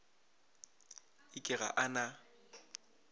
e ke ga a na